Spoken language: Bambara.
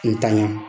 N tanɲa